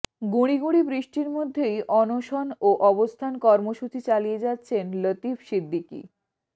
গুঁড়ি গুঁড়ি বৃষ্টির মধ্যেই অনশন ও অবস্থান কর্মসূচি চালিয়ে যাচ্ছেন লতিফ সিদ্দিকী